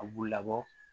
A b'u labɔ